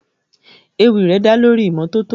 Ewì rẹ̀ dá lórí ìmọ́tótó.